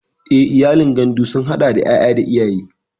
Eh, iyalin gandu sun hada da yaya da iyaye.